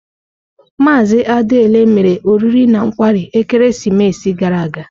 Maazị Adiele mere oriri na nkwarị ekeresimesi gara aga.